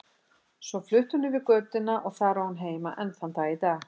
Svo flutti hún yfir götuna og þar á hún heima enn þann dag í dag.